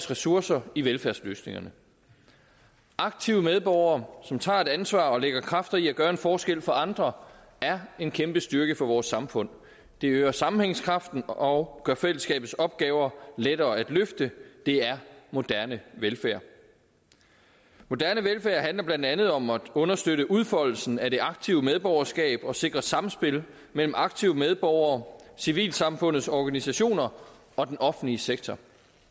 ressourcer i velfærdsløsningerne aktive medborgere som tager et ansvar og lægger kræfter i at gøre en forskel for andre er en kæmpe styrke for vores samfund det øger sammenhængskraften og gør fællesskabets opgaver lettere at løfte det er moderne velfærd moderne velfærd handler blandt andet om at understøtte udfoldelsen af det aktive medborgerskab og sikre samspil mellem aktive medborgere civilsamfundets organisationer og den offentlige sektor